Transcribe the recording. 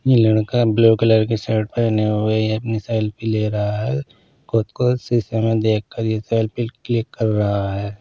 ये लड़का blue colour की शर्ट पहने हुए ये अपनी सेल्फी ले रहा है खुद को सीसे में देखकर ये सेल्फी क्लिक कर रहा है।